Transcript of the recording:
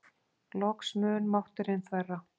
Loks mun mátturinn þverra.